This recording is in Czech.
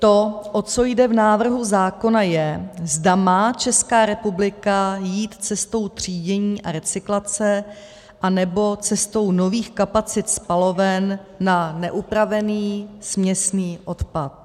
To, o co jde v návrhu zákona je, zda má Česká republika jít cestou třídění a recyklace, anebo cestou nových kapacit spaloven na neupravený směsný odpad.